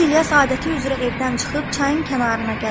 Gənc İlyas adəti üzrə evdən çıxıb çayın kənarına gəlirdi.